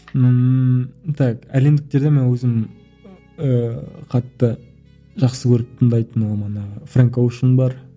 ммм так әлемдіктерден мана өзім ыыы қатты жақсы көріп тыңдайтын ол маына фрэнк оушен бар